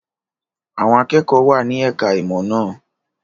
Àwọn akẹ́kọ̀ọ́ wà ní ẹ̀ka-ìmọ̀ náà.